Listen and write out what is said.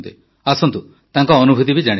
ଆସନ୍ତୁ ତାଙ୍କ ଅନୁଭୁତି ବି ଜାଣିବା